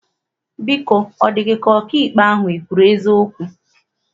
Biko, ọ dị gị ka ọkaikpe ahụ ekwuru eziokwu?